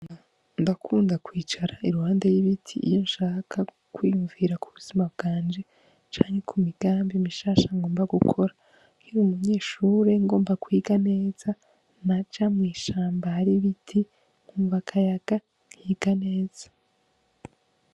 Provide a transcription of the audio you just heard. Ndakunda kwicara iruhande y'ibiti iyo nshaka kwiyumvira kubuzima bwanje canke imigambi mishasha ngomba gukora nkiri umunyeshure ngomba kwiga neza naja mw'ishamba hari ibiti nkumva akayaga nkiga neza.